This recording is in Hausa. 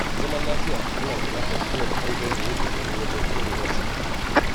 Zaman lafiya yana buƙatar kowane ɓangare ya yi ƙoƙari wajen ɗorewarsa